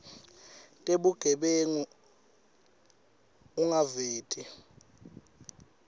tebugebengu ungaveti ligama